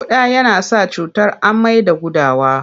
Ƙuda yana sa cutar amai da gudawa.